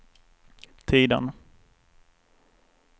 Tidan